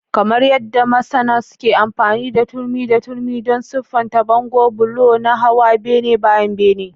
Kamar yadda masons ke amfani da turmi da turmi don siffata bango, bulo na hawa bene bayan bene.